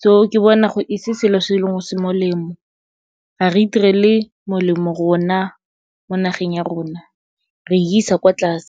So ke bona e se selo se e leng gore se molemo, ga re itirele molemo rona mo nageng ya rona, re isa kwa tlase.